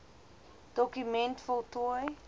doku ment voltooi